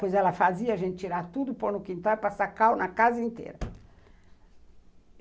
Pois ela fazia a gente tirar tudo, pôr no quintal e passar cal na casa inteira.